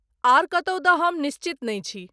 आओर कतहु दऽ हम निश्चित नहि छी।